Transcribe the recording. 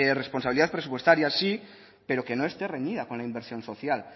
responsabilidad presupuestaria sí pero que no esté reñida con la inversión social